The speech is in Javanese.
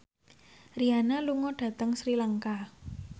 Rihanna lunga dhateng Sri Lanka